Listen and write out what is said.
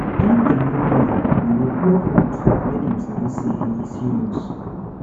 if dem no gree we go block road make dem sabi say e serious